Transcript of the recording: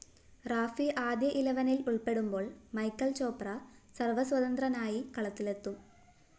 റാഫി ആദ്യ ഇലവനില്‍ ഉള്‍പ്പെടുമ്പോള്‍ മൈക്കല്‍ ചോപ്ര സര്‍വസ്വതന്ത്രനായി കളത്തിലെത്തും